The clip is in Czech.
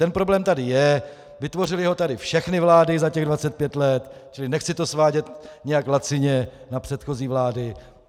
Ten problém tady je, vytvořily ho tady všechny vlády za těch 25 let, čili nechci to svádět nějak lacině na předchozí vlády.